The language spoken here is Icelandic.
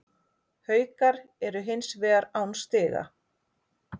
Haukar eru hins vegar án stiga